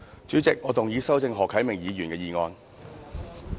主席，我動議修正何啟明議員的議案。